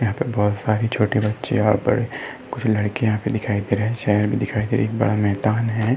यहाँ पर बहोत सारे छोटे बच्चे और बड़े कुछ लड़के यहाँ पर दिखाई दे रहे हैं एक बड़ा मैदान है।